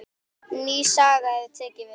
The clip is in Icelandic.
Ný saga hafi tekið við.